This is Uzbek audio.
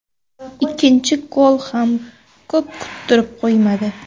Ikkinchi gol ham ko‘p kuttirib qo‘ymadi.